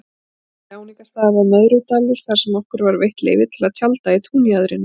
Næsti áningarstaður var Möðrudalur þarsem okkur var veitt leyfi til að tjalda í túnjaðrinum.